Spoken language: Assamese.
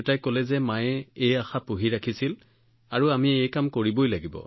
আমি তেওঁক কোৱাৰ লগে লগে তেওঁ কলে যে নহয় নহয় এইটো মাৰ ইচ্ছা আছিল আৰু আমি এইটো কৰিব লাগিব